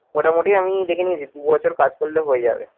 মোটামুটি আমি দেখে নিয়েছি দু বছর কাজ করলে হয়ে যাবে।